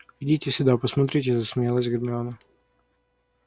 идите сюда посмотрите засмеялась гермиона